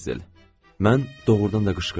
Mən doğurdan da qışqırdım.